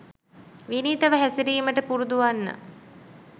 විනීතව හැසිරීමට පුරුදුවෙන්න